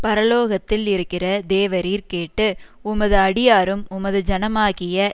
பரலோகத்தில் இருக்கிற தேவரீர் கேட்டு உமது அடியாரும் உமது ஜனமாகிய